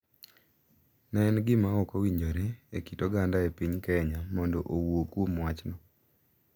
Ne en gima ok owinjore e kit oganda e piny Kenya mondo owuo kuom wachno,